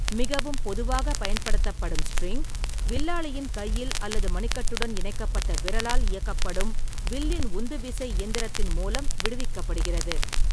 மிகவும் பொதுவாக பயன்படுத்தப்படும் ஸ்ட்ரிங், வில்லாளியின் கையில் அல்லது மணிக்கட்டுடன் இணைக்கப்பட்ட விரலால் இயக்கப்படும் வில்லின் உந்துவிசை இயந்திரத்தின் மூலம் விடுவிக்கப்படுகிறது.